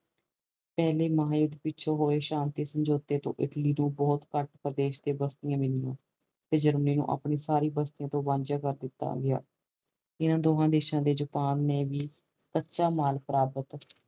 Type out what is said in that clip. ਪੱਲੇ ਮਹਾ ਯੂੱਧ ਪਿੱਛੋਂ ਹੋਏ ਸ਼ਾਂਤੀ ਸਮਜੋਤਾ ਤੋਂ ਇਟਲੀ ਨੂੰ ਬਹੁਤ ਘਾਟ ਪ੍ਰਦੇਸ਼ ਤੇ ਬਸਤੀਆਂ ਤੋਂ ਵੰਜ ਕਰ ਦਿੱਤੋ ਗਯਾ ਇਨਾ ਦੋਹਾ ਦੇਸ਼ਾਂ ਚੋਣ ਜਪਾਨ ਨੇ ਵੀ ਕੱਚਾ ਮਾਲ ਪ੍ਰਾਪਤ